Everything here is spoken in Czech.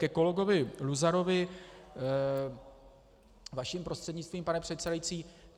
Ke kolegovi Luzarovi vaším prostřednictvím, pane předsedající.